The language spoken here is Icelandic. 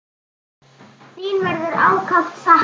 Þín verður ákaft saknað.